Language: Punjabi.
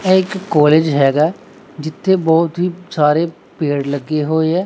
ਇਹ ਇਕ ਕਾਲਜ ਹੈਗਾ ਜਿੱਥੇ ਬਹੁਤ ਹੀ ਸਾਰੇ ਪੇੜ ਲੱਗੇ ਹੋਏ ਹੈ।